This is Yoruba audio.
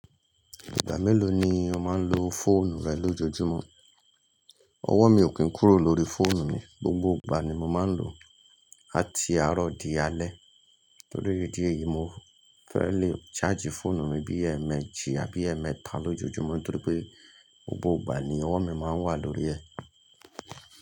Ìgbà mélòó ni o máa ń lo fóònù rẹ lójoojúmọ́? Ọwọ́ mi ò kì n kúrò l'órí fóònù mi, gbogbo ìgbà ni mo máa ń lò, láti àárọ̀ di alẹ́. Nítorí ìdí èyí, mo fẹ́ẹ̀ lè ṣáàjì fóònù mi bí èmẹ́jì àbí èmẹ́ta lójoojúmọ́ nítorí pé gbogbo ìgbà ni ọwọ́ mi máa ń wà lórí ẹ̀.